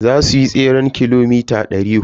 Za suyi tseren kilomita dari hudu.